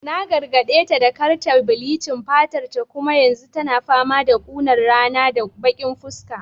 Na gargadeta da kar ta bleaching fatarta kuma yanzu tana fama da kunar rana da baki fuska